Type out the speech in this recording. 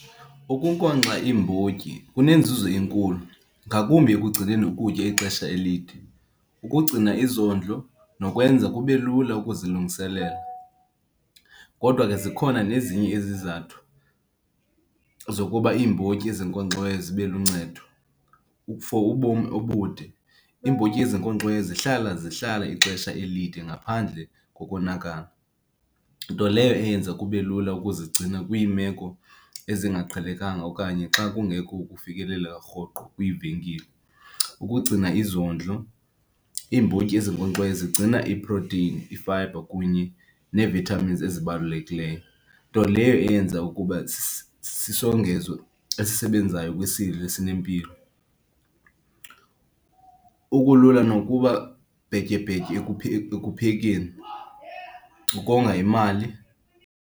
Ukunkonkxa iimbotyi kunenzuzo enkulu ngakumbi ekugcineni ukutya ixesha elide. Ukugcina izondlo nokwenza kube lula ukuzilungiselela kodwa ke zikhona nezinye izizathu zokuba iimbotyi ezinkonkxiweyo zibe luncedo. For ubomi obude, iimbotyi ezinkonkxiweyo zihlala, zihlala ixesha elide ngaphandle kokonakala, nto leyo eyenza kube lula ukuzigcina kwiimeko ezingaqhelekanga okanye xa kungekho ukufikeleleka rhoqo kwiivenkile. Ukugcina izondlo, iimbotyi ezinkonkxiweyo zigcina iiproteyini, ifayibha kunye nee-vitamins ezibalulekileyo, nto leyo eyenza ukuba sisongezo esisebenzayo kwisidlo esinempilo, ubulula nokuba ibhetyebhetye ekuphekeni, ukonga imali.